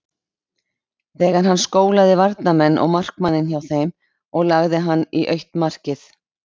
Þegar hann skólaði varnarmenn og markmanninn hjá þeim og lagði hann í autt markið.